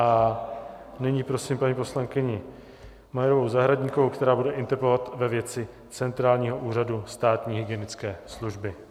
A nyní prosím paní poslankyni Majerovou Zahradníkovou, která bude interpelovat ve věci centrálního úřadu státní hygienické služby.